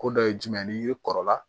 Ko dɔ ye jumɛn ye n'i kɔrɔla